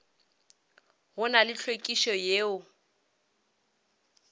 go na le hlwekišo yeo